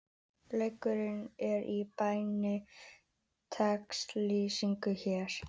Leikurinn er í beinni textalýsingu hér